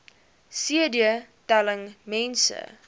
cd telling mense